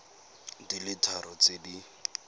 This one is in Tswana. di le tharo tse di